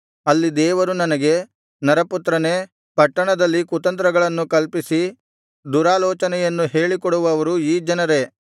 ಅಲ್ಲಿ ದೇವರು ನನಗೆ ನರಪುತ್ರನೇ ಪಟ್ಟಣದಲ್ಲಿ ಕುತಂತ್ರಗಳನ್ನು ಕಲ್ಪಿಸಿ ದುರಾಲೋಚನೆಯನ್ನು ಹೇಳಿಕೊಡುವವರು ಈ ಜನರೇ